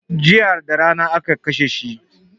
Jiya darana aka kashe shi